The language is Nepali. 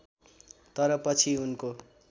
तर पछि उनको